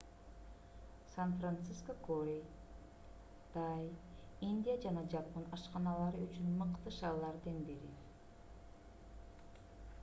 сан-франциско корей тай индия жана жапон ашканалары үчүн мыкты шаарлардын бири